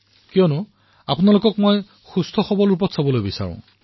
কাৰণ আপোনালোকক মই ফিট দেখিবলৈ বিচাৰিছো